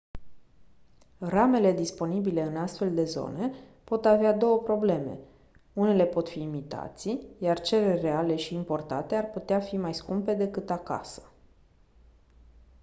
ramele disponibile în astfel de zone pot avea două probleme unele pot fi imitații iar cele reale și importate ar putea fi mai scumpe decât acasă